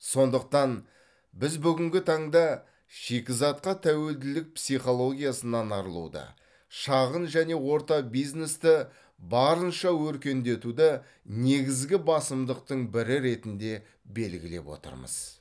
сондықтан біз бүгінгі таңда шикізатқа тәуелділік психологиясынан арылуды шағын және орта бизнесті барынша өркендетуді негізгі басымдықтың бірі ретінде белгілеп отырмыз